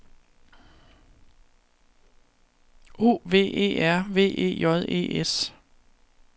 O V E R V E J E S